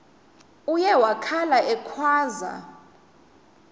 uye wakhala ekhwaza